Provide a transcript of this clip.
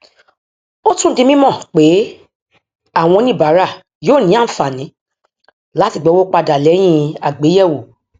ó tún di mímọ pé àwọn oníbàárà yóò ní àǹfààní láti gbà owó padà lẹyìn àgbéyẹwò